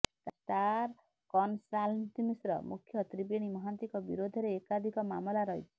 star କନ୍ସଲ୍ଟାନ୍ସିର ମୁଖ୍ୟ ତ୍ରିବେଣୀ ମହାନ୍ତିଙ୍କ ବିରୋଧରେ ଏକାଧିକ ମାମଲା ରହିଛି